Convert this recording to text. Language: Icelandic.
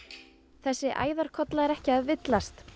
þessi æðarkolla er ekki að villast